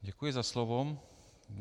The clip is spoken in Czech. Děkuji za slovo.